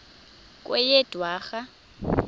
kweyedwarha